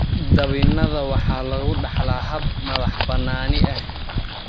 Dabinnada waxaa lagu dhaxlaa hab madax-bannaani ah.